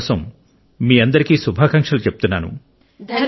అందుకొరకు కూడా నేను మీకు శుభాకాంక్షలు చెప్తున్నాను